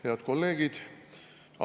Head kolleegid!